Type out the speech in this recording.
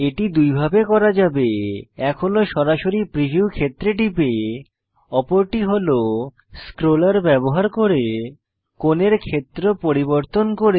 এটি দুইভাবে করা যাবে এক হল সরাসরি প্রিভিউ ক্ষেত্রে টিপে অপরটি হল স্ক্রোলার ব্যবহার করে কোণের ক্ষেত্র পরিবর্তন করে